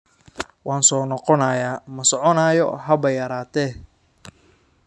Waan soo noqonayaa, ma soconayo haba yaraatee.